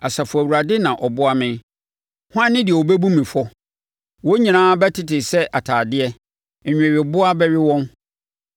Asafo Awurade na ɔboa me. Hwan ne deɛ ɔbɛbu me fɔ? Wɔn nyinaa bɛtete sɛ atadeɛ; nnweweboaa bɛwe wɔn.